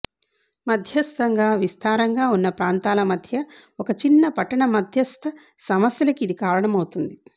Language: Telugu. మధ్యస్థంగా విస్తారంగా ఉన్న ప్రాంతాల మధ్య ఒక చిన్న పట్టణ మధ్యస్థ సమస్యలకి ఇది కారణమవుతుంది